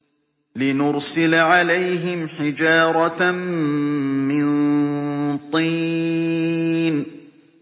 لِنُرْسِلَ عَلَيْهِمْ حِجَارَةً مِّن طِينٍ